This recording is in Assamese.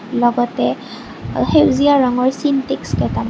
লগতে অ সেউজীয়া ৰঙৰ চিনটেক্স কেইটা--